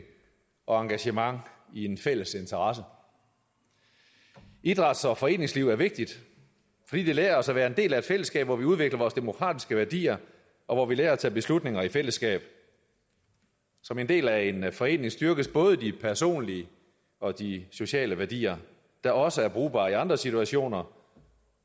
og engagement i en fælles interesse idræts og foreningsliv er vigtigt fordi det lærer os at være en del af et fællesskab hvor vi udvikler vores demokratiske værdier og hvor vi lærer at tage beslutninger i fællesskab som en del af en forening styrkes både de personlige og de sociale værdier der også er brugbare i andre situationer